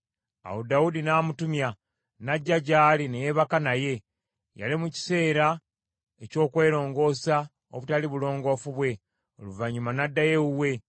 Awo Dawudi n’amutumya, n’ajja gy’ali, ne yeebaka naye. Yali mu kiseera eky’okwelongoosa obutali bulongoofu bwe. Oluvannyuma n’addayo ewuwe.